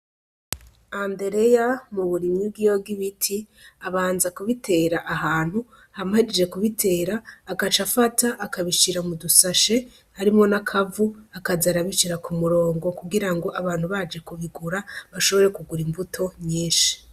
Andereya mu burimyi bwiwe bw'ibiti abanza kubitera ahantu hama ahejeje kubitera agaca afata akabishira mudu sashe harimwo n'akavu akaza arabishira ku murongo kugira ngo abantu baje kubigura bashobore kugura imbuto nyinshi.